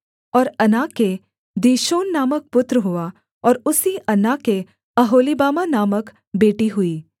और अना के दीशोन नामक पुत्र हुआ और उसी अना के ओहोलीबामा नामक बेटी हुई